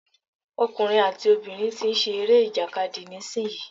Ọkùnrin àti obìnrin tí ń ṣe eré ìjàkadì nísìyí.